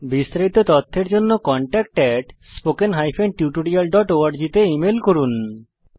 বিস্তারিত তথ্যের জন্য contactspoken tutorialorg তে ইমেল করুন